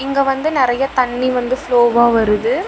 இங்க வந்து நெறய தண்ணி வந்து ஃப்ளோவா வருது.